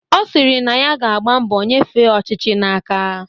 Ọ sịrị na ya ga-agba mbọ nyefee ọchịchị n'aka